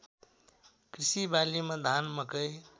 कृषिबालीमा धान मकै